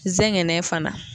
Zɛgɛnɛ fana